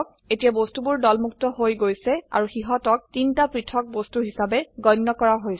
এতিয়া বস্তুবোৰ দলমুক্ত হৈ গৈছে আৰু সিহতক তিনটা পৃথক বস্তু হিসাবে গণ্য কৰা হৈছে